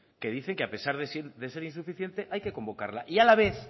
que dicen que a pesar de ser insuficiente hay que convocarla y a la vez